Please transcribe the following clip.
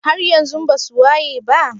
haryanzun basu wayeba?